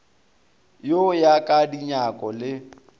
go ya ka dinyako le